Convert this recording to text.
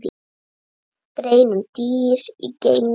Grein um dýr í geimnum